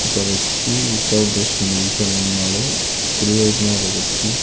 ఒక వ్యక్తి without dress మీద నిల్చుని ఉన్నాడు కుడివైపున ఒక వ్యక్తి.